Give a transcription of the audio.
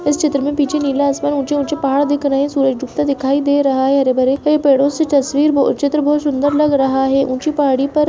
इस चित्र मे पीछे नीला आसमान ऊँचे-ऊँचे पहाड़ दिख रहे है सूरज डूबता दिखाई दे रहा है हरे-भरे पेड़ों से तस्वीर चित्र बहुत सुंदर लग रहा है ऊँची पहाड़ी पर --